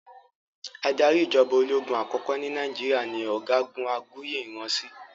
Adarí ìjọba ológun àkọ́kọ́ ní Nàìjíríà ni ọ̀gágun Aguiyi Ironsi